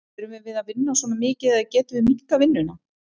Þurfum við að vinna svona mikið eða getum við minnkað vinnuna?